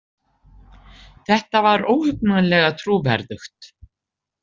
Þetta var óhugnanlega trúverðugt.